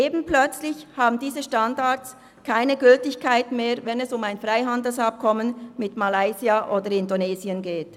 Eben plötzlich haben diese Standards keine Gültigkeit mehr, wenn es um ein Freihandelsabkommen mit Malaysia oder Indonesien geht.